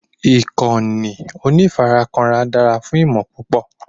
ìkànnì onífarakínra dára fún ìmọ̀ púpọ̀